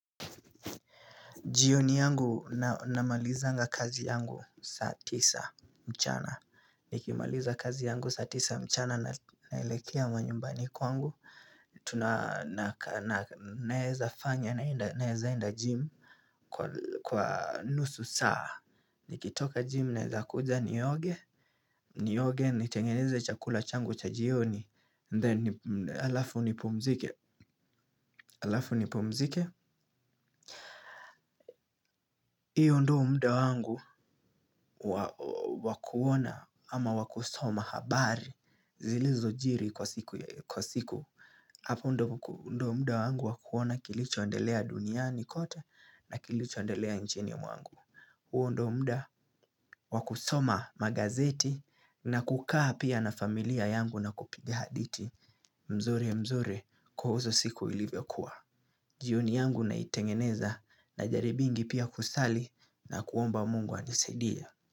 Jioni yangu namalizanga kazi yangu saa tisa mchana. Nikimaliza kazi yangu saa tisa mchana naelekea manyumbani kwangu. Tunaeza fanya naeza enda gym kwa nusu saa. Nikitoka gym nezakuja nioge. Nioge, nitengeneze chakula changu cha jioni. Then alafu nipumzike. Alafu nipumzike. Hiyo ndio muda wangu wa kuona ama wa kusoma habari zilizojiri kwa siku. Hapo ndo muda wangu wa kuona kilichoendelea duniani kote na kilichoendelea njini mwangu. Huo ndo mda wa kusoma magazeti na kukaa pia na familia yangu na kupiga haditi mzori mzori kuhusu siku ilivyokuwa. Jioni yangu naitengeneza najaribingi pia kusali na kuomba Mungu anisaidie.